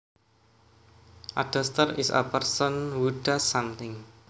A duster is a person who dusts something